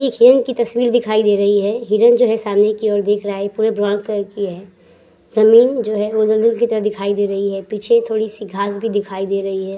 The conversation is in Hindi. एक हीरोइन की तस्वीर दिखाई दे रही है। हीरोइन जो है सामने की ओर देख रहा है। पूरे ब्राउन कलर की है। जमीन जो है वो दलदल की तरह दिखाई दे रही है। पीछे थोड़ी-सी घास भी दिखाई दे रही है।